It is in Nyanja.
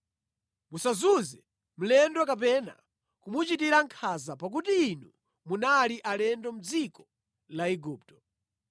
“Musazunze mlendo kapena kumuchitira nkhanza, pakuti inu munali alendo mʼdziko la Igupto.